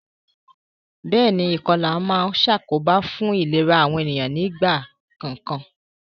Béèni, ìkolà ma n sàkóbá fun ìlera àwon ènìyàn ni àwon ìgbà kòkan